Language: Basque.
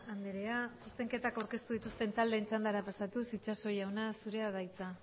andrea zuzenketak aurkeztu dituzten taldeen txandara pasatuz itxaso jauna zurea da hitza